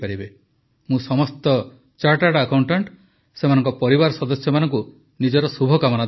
ମୁଁ ସମସ୍ତ chartered accountant ତାଙ୍କ ପରିବାର ସଦସ୍ୟମାନଙ୍କୁ ନିଜର ଶୁଭକାମନା ଜଣାଉଛି